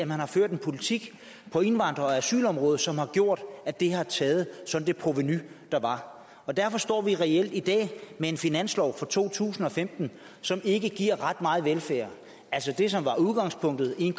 man har ført en politik på indvandrer og asylområdet som har gjort at det har taget det provenu der var derfor står vi reelt i dag med en finanslov for to tusind og femten som ikke giver ret meget velfærd det som var udgangspunktet en